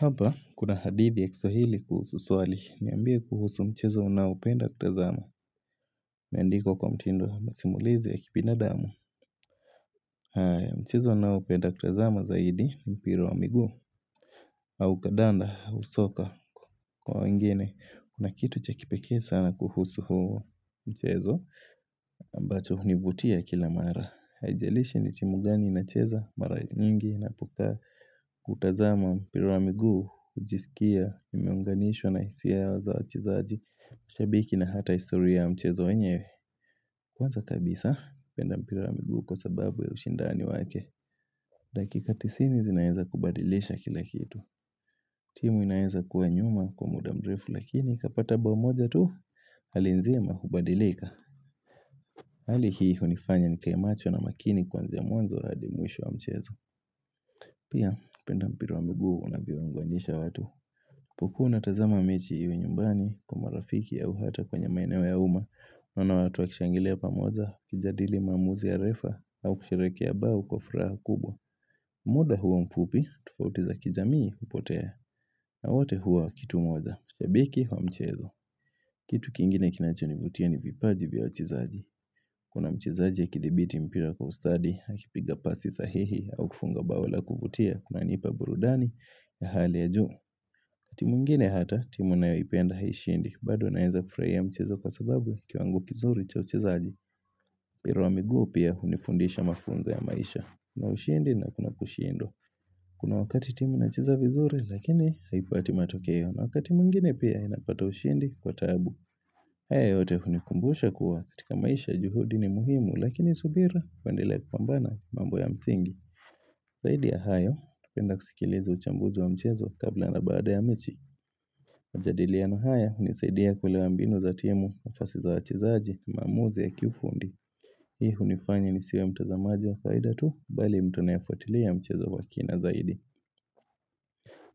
Hapa, kuna hadithi ya kiswahili kuhusu swali, niambie kuhusu mchezo unaopenda kutazama, imeandikwa kwa mtindo wa masimulizi ya kibinadamu. Mchezo ninaopenda kutazama zaidi, mpira wa miguu, au kadanda, au soka. Kwa wengine, kuna kitu cha kipekee sana kuhusu huo mchezo, ambacho hunivutia kila mara. Haijalishi ni timu gani inacheza mara nyingi napokaa kutazama mpira wa miguu hujisikia imeunganishwa na hisia za wachezaji shabiki na hata historia mchezo wenyewe Kwanza kabisa penda mpira wa migu kwa sababu ya ushindani wake Dakikati tisini zinaezakubadilisha kila kitu timu inaeza kuwa nyuma kwa muda mrefu lakini ikapata bao moja tu hali nzima hubadilika Hali hii hunifanya nikae macho na makini kuanzia mwanzo hadi mwisho wa mchezo Pia, penda mpira wa miguu unavyowaunganisha watu unapokuwa unapotazama mechi iwe nyumbani kwa marafiki au hata kwenye maeneo ya umma unaona watu wakishangilia pamoja kijadili maamuzi ya refa au kusherekea bao kwa furaha kubwa muda huo mfupi, tufauti za kijamii hupotea na wote huwa kitu moja, shabiki wa mchezo Kitu kingine kinachonivutia ni vipaji vya wachezaji Kuna mchezaji akithibiti mpira kwa ustadi, akipiga pasi sahihi, au kufunga bao la kuvutia, kunanipa burudani ya hali ya juu. Timu ingine hata, timu ninayoipenda haishindi, bado naezafurahia mchezo kwa sababu kiwango kizuri cha uchezaji. Mpira wa miguu pia hunifundisha mafunzo ya maisha. Kuna ushindi na kuna kushindwa. Kuna wakati timu inacheza vizuri, lakini haipati matokeo na wakati mwngine pia inapata ushindi kwa taabu. Haya yote hunikumbusha kuwa katika maisha juhudi ni muhimu lakini subira uendee kupambana mambo ya msingi. Zaidi ya hayo, napenda kusikiliza uchambuzi wa mchezo kabla na baada ya mechi. Majadiliano haya, hunisaidia kuelewa mbinu za timu, nafasi za wachezaji, maamuzi ya kiufundi. Hii hunifanya nisiwe mtazamaji wa kawaida tu, bali mtu nayefuatilia mchezo wa kina zaidi.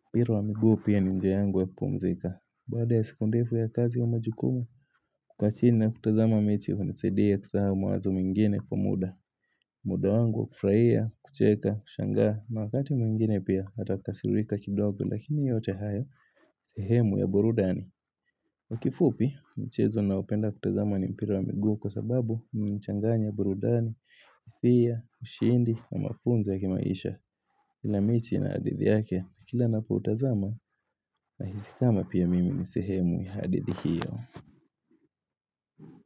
Mpira wa miguu pia ni njia yangu ya kupumzika. Baada ya seku ndefu ya kazi ya majukumu, kukaa chini na kutazama miti hunisaidia kusahau mawazo mingine kwa muda. Muda wangu wa kufurahia, kucheka, kushangaa, na wakati mwingine pia atakasirika kidogo lakini yote hayo sehemu ya burudani. Kwa kifupi, mchezo naopenda kutazama ni mpira wa miguu kwa sababu imechanganya burudani, hisia, ushindi, na mafunzo ya kimaisha. Kila mechi ina hadithi yake na kila napoutazama nahisi kama pia mimi ni sehemu ya hadithi hiyo.